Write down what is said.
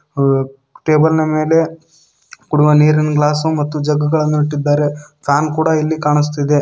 ಆ ಟೇಬಲ್ನ ಮೇಲೆ ಕುಡಿವ ನೀರಿನ್ ಗ್ಲಾಸು ಮತ್ತು ಜಗ್ಗುಗಳನ್ನು ಇಟ್ಟಿದ್ದಾರೆ ಕಾಮ್ ಕೂಡ ಇಲ್ಲಿ ಕಾಣಿಸ್ತಿದೆ.